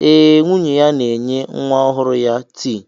Eh, nwunye ya na-enye nwa ọhụrụ ya tii.